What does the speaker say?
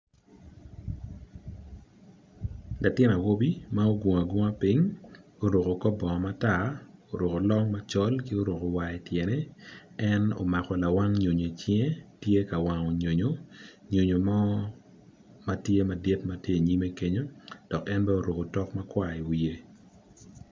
Latin awobi ma ogungu agunga piny oruko kor bongo matar oruko long macol ki oruko war ityene en omako lawang nyonyo icinge tye ka wango nyonyo. nyonyo mo matye madit matye inyime kenyo dok en bene oruko otok makwar i iwiye.